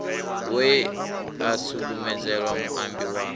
we a sukumedzela muambi wa